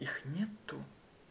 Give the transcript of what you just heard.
их нет